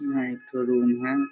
यहाँ एक ठो रूम है।